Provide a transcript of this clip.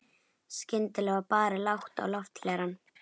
Skyndilega var barið lágt á lofthlerann.